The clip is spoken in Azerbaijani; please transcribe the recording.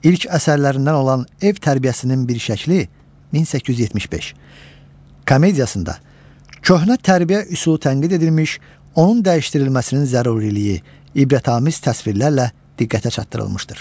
İlk əsərlərindən olan Ev tərbiyəsinin bir şəkli (1875) komediyasında köhnə tərbiyə üsulu tənqid edilmiş, onun dəyişdirilməsinin zəruriliyi ibrətamiz təsvirlərlə diqqətə çatdırılmışdır.